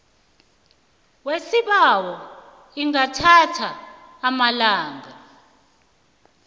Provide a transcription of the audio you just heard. yesibawo ingathatha amalanga